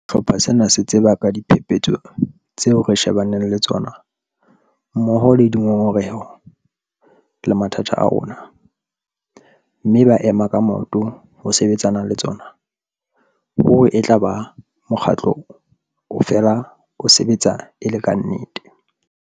Ha sehlopha sena se tseba ka diphephetso tseo re shebaneng le tsona, mmoho le dingongoreho, le mathata a rona, mme ba ema ka maoto ho sebetsana le tsona, ruri etlaba mokgatlo o fela o sebetsa e le ka nnete.